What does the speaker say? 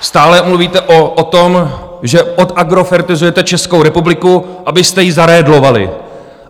Stále mluvíte o tom, že odagrofertizujete Českou republiku, abyste ji zaredlovali.